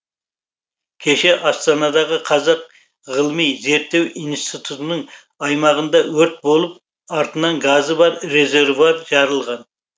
кеше астанадағы қазақ ғылыми зерттеу институтының аймағында өрт болып артынан газы бар резервуар жарылған